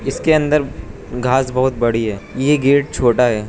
इसके अंदर घास बहोत बड़ी है ये गेट छोटा है।